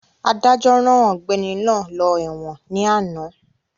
Adájọ́ rán ọ̀gbẹ́ni náà lọ ẹ̀wọ̀n ní àná